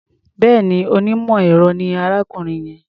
Bẹ́ẹ̀ni, onímọ̀-ẹ̀rọ ni arákùnrin yẹn.